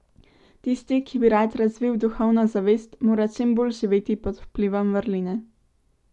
Tisti, ki bi rad razvil duhovno zavest, mora čim bolj živeti pod vplivom vrline.